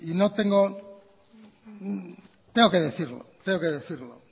tengo que decirlo yo creo